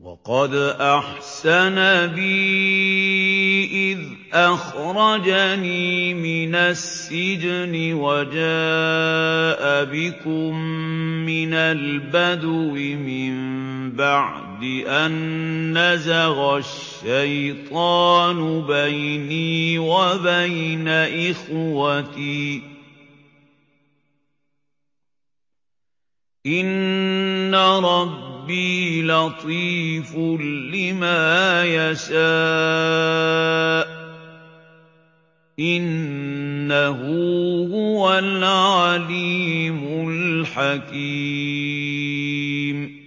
وَقَدْ أَحْسَنَ بِي إِذْ أَخْرَجَنِي مِنَ السِّجْنِ وَجَاءَ بِكُم مِّنَ الْبَدْوِ مِن بَعْدِ أَن نَّزَغَ الشَّيْطَانُ بَيْنِي وَبَيْنَ إِخْوَتِي ۚ إِنَّ رَبِّي لَطِيفٌ لِّمَا يَشَاءُ ۚ إِنَّهُ هُوَ الْعَلِيمُ الْحَكِيمُ